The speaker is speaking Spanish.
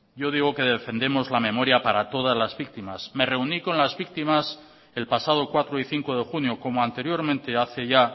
yo digo que defendemos la memoria para todas víctimas me reuní con las víctimas el pasado cuatro y cinco de junio como anteriormente hace ya